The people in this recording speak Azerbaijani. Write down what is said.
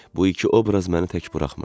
Bu iki obraz məni tək buraxmırdı.